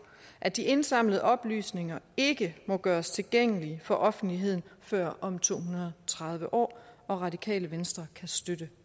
at de indsamlede oplysninger ikke må gøres tilgængelige for offentligheden før om to hundrede og tredive år radikale venstre kan støtte